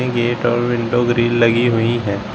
Gate और window grill लगी हुई है।